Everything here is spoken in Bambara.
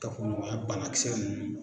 Kafoɲɔgɔnya banakisɛ ninnu.